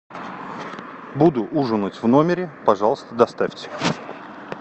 буду ужинать в номере пожалуйста доставьте